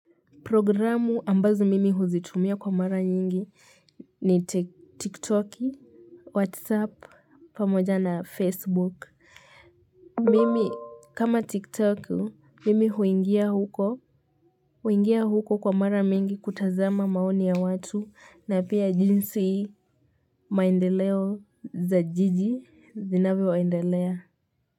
Programu ambazo mimi huzitumia kwa mara nyingi ni tiktoki, whatsapp, pamoja na facebook. Mimi kama tiktoki, mimi huingia huko, huingia huko kwa mara mingi kutazama maoni ya watu na pia jinsi maendeleo za jiji zinavyo endelea.